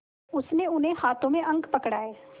उसने उन्हें हाथों में अंक पकड़ाए